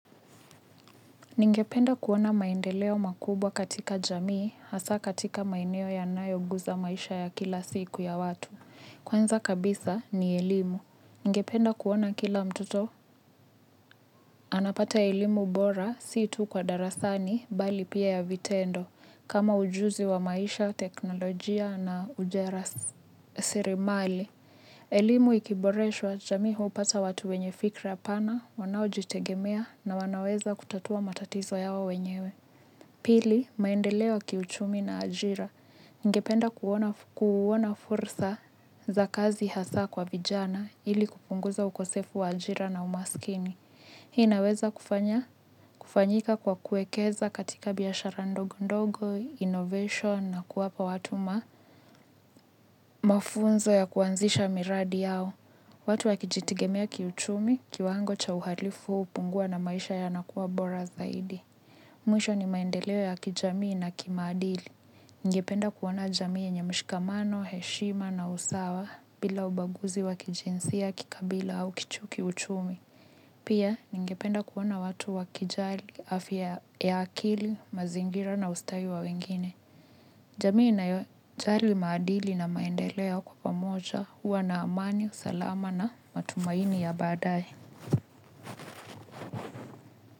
Ninge penda kuona maendeleo makubwa katika jamii, hasa katika maeneo ya nayo guza maisha ya kila siku ya watu. Kwanza kabisa ni elimu. Ningependa kuona kila mtoto. Anapata elimu bora, sii tu kwa darasani bali pia ya vitendo, kama ujuzi wa maisha, teknolojia na ujasiriamali. Elimu ikiboreshwa jamii hupata watu wenyefikira pana, wanao jitegemea na wanaweza kutatua matatizo yao wenyewe. Pili, maendeleo ya kiuchumi na ajira. Ningependa kuona fursa za kazi hasa kwa vijana ili kupunguza ukosefu wa ajira na umasikini. Hii naweza kufanyika kwa kuekeza katika biashara ndogondogo, innovation na kuwapa watu mafunzo ya kuanzisha miradi yao. Watu wakijitigemea kiuchumi kiwango cha uhalifu hupungua na maisha yanakuwa bora zaidi. Mwisho ni maendeleo ya kijamii na kimaadili. Ngependa kuona jamii yenye mshikamano, heshima na usawa bila ubaguzi wakijinsia kikabila au kiuchumi. Pia ningependa kuona watu waki jali afya ya akili, mazingira na ustawi wa wengine. Jamii inayo jali maadili na maendeleo kwa pamoja uwa na amani, salama na matumaini ya badae.